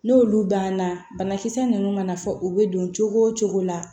N'olu banna banakisɛ ninnu mana fɔ u bɛ don cogo o cogo la